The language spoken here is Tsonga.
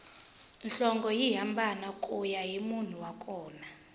nhlonge yi hambana kuya hi munhu wa kona